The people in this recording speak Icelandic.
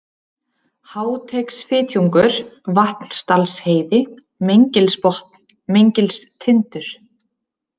Háateigsfitjungur, Vatnsdalsheiði, Meingilsbotn, Meingilstindur